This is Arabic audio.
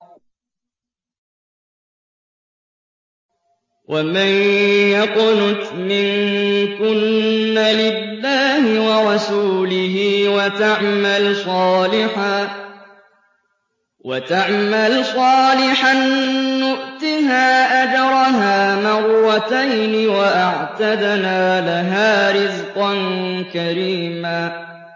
۞ وَمَن يَقْنُتْ مِنكُنَّ لِلَّهِ وَرَسُولِهِ وَتَعْمَلْ صَالِحًا نُّؤْتِهَا أَجْرَهَا مَرَّتَيْنِ وَأَعْتَدْنَا لَهَا رِزْقًا كَرِيمًا